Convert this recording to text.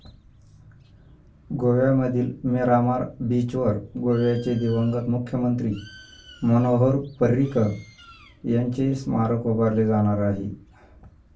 गोव्यामधील मिरामार बीचवर गोव्याचे दिवंगत मुख्यमंत्री मनोहर पर्रीकर यांचे स्मारक उभारले जाणार आहे.